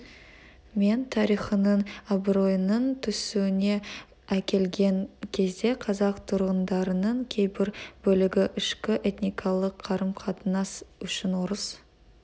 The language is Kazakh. мен тарихының абыройының түсуіне әкелген кезде қазақ тұрғындарының кейбір бөлігі ішкі этникалық қарым-қатынас үшін орыс